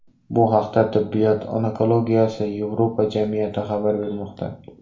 Bu haqda Tibbiyot onkologiyasi Yevropa jamiyati xabar bermoqda .